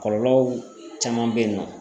Kɔlɔlɔw caman bɛ yen nɔ.